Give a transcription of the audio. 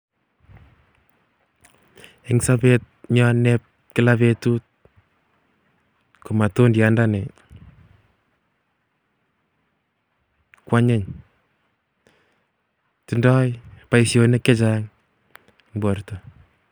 Eng sobenyon nebo kilaa betut ii ko matundyat ndonii kwanyiny tindo boishonik chechang eng borto